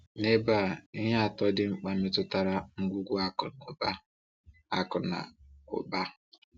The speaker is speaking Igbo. N’ebe a, ihe atọ dị mkpa metụtara ngwugwu akụ na ụba. akụ na ụba.